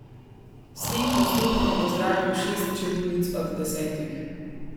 S tem postopkom ozdravim šest čebulic od desetih.